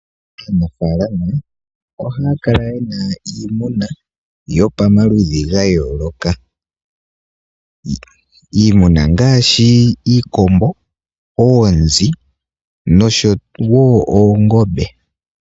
Aanafaalama ohaya kala yena iimuna yo pamaludhi ga yooloka, iimuna ongaashi, iikombo, oonzi, nosho wo oongombe